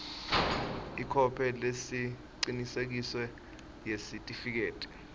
ikhophi lecinisekisiwe yesitifiketi